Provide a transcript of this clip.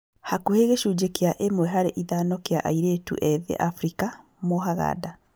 Hakuhĩ gĩcunjĩ kĩa ĩmwe harĩ ithano kĩa airĩtu ethĩ Afrika mohaga nda.